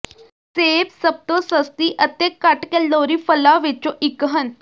ਸੇਬ ਸਭ ਤੋਂ ਸਸਤੀ ਅਤੇ ਘੱਟ ਕੈਲੋਰੀ ਫਲਾਂ ਵਿੱਚੋਂ ਇੱਕ ਹਨ